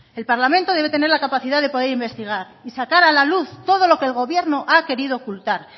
el parlamento debe tener la capacidad de poder investigar y sacar a la luz todo lo que el gobierno ha querido ocultar